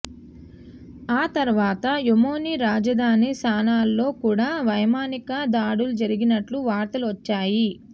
ఆ తరువాత యెమెనీ రాజధాని సనాలో కూడా వైమానిక దాడులు జరిగినట్లు వార్తలు వచ్చాయి